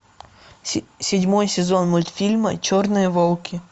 седьмой сезон мультфильма черные волки